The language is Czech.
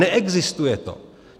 Neexistuje to.